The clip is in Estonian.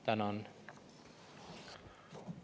Tänan!